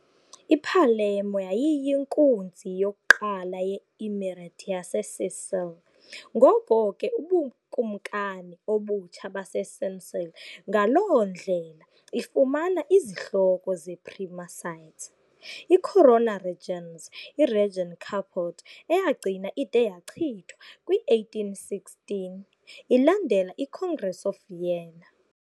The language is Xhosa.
I-Palermo yayiyinkunzi yokuqala ye-Emirate yaseSicily, ngoko ke uBukumkani obutsha baseSicily, ngaloo ndlela ifumana izihloko ze-Prima Sedes, i-Corona Regis et Regni Caput, eyagcina ide yachithwa kwi-1816 ilandela iCongress of Vienna.